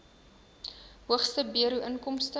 hoogste bruto inkomste